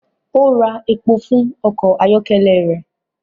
O ń rà èpo fún ọkọ ayọkẹlẹ rẹ